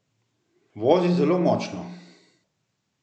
Vozi zelo močno!